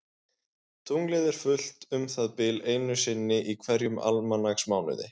Tunglið er fullt um það bil einu sinni í hverjum almanaksmánuði.